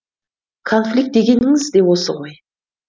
конфликт дегеніңіз де осы ғой